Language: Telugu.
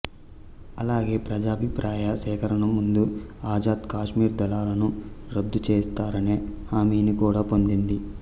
అలాగే ప్రజాభిప్రాయ సేకరణకు ముందే ఆజాద్ కాశ్మీర్ దళాలను రద్దు చేస్తారనే హామీని కూడా పొందింది